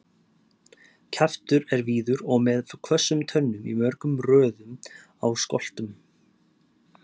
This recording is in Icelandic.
Kjaftur er víður og með hvössum tönnum í mörgum röðum á skoltum.